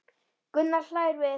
Gunnar hlær við.